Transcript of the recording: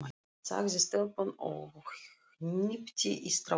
sagði stelpan og hnippti í strákinn.